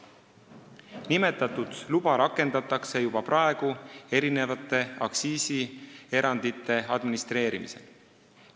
Nimetatud luba rakendatakse juba praegu mitmete aktsiisierandite administreerimisel.